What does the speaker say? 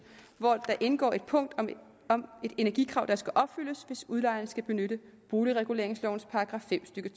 hvori der indgår et punkt om et energikrav der skal opfyldes hvis udlejeren skal benytte boligreguleringslovens § fem stykke